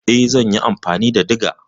Eh zan yi amfani da diga.